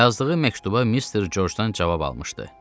Yazdığı məktuba mister Georgedan cavab almışdı.